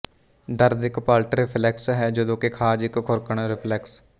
ਦਰਦ ਇੱਕ ਪਲਟ ਰਿਫਲੈਕਸ ਹੈ ਜਦੋਂ ਕਿ ਖ਼ਾਜ ਇੱਕ ਖ਼ੁਰਕਣ ਰਿਫਲੈਕਸ